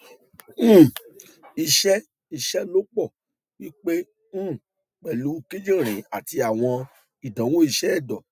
um iṣẹ iṣelọpọ pipe um pẹlu kidirin ati awọn idanwo iṣẹ ẹdọ